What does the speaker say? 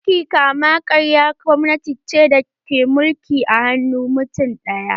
Mulkin kama-karya gwamnati ce da mulki ke hannun mutum ɗaya